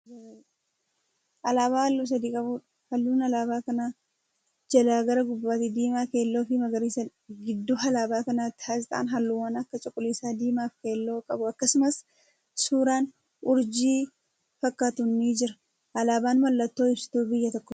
Alaabaa halluu sadi qabuudha. halluun alaabaa kanaa jalaa gara gubbaatti diimaa, keelloofi magariiisadha. gidduu alaabaa kanaatti aasxaan halluuwwan Akka cuquliisaa, diimaafi keelloo qabu akkasumas suuraan urjii fakkaatuun ni Jira alaabaan mallattoon insituu biyyaata tokkooti.